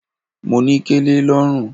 Mo ní kẹlẹ lọ́rùn.